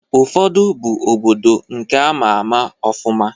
Ụfọdụ bụ obodo nke ama ama ọfụma.